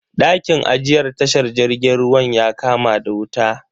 Dakin ajiyar tashar jirgin ruwan ya kama da wuta.